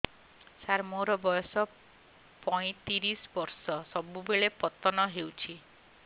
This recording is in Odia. ସାର ମୋର ବୟସ ପୈତିରିଶ ବର୍ଷ ସବୁବେଳେ ପତନ ହେଉଛି